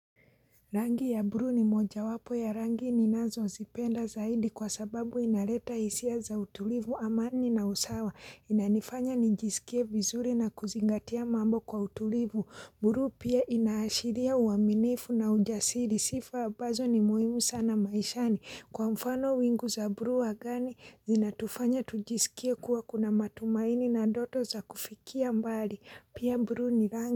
Rangi ya buluu ni moja wapo ya rangi ninazo zipenda zaidi kwa sababu inaleta hisia za utulivu amani na usawa inanifanya nijisikie vizuri na kuzingatia mambo kwa utulivu buluu pia inaashiria uaminifu na ujasiri sifa ambazo ni muhimu sana maishani kwa mfano wingu za buluu angani zinatufanya tujisikie kuwa kuna matumaini na ndoto za kufikia mbali pia buluu ni rangi.